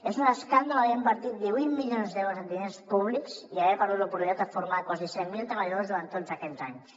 és un escàndol haver invertit divuit milions d’euros en diners públics i haver perdut l’oportunitat de formar quasi cent mil treballadors durant tots aquests anys